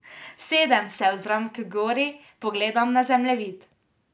Sedem, se ozrem h gori, pogledam na zemljevid.